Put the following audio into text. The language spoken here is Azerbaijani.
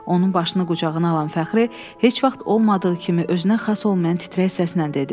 Onun başını qucağına alan Fəxri heç vaxt olmadığı kimi özünə xas olmayan titrək səslə dedi.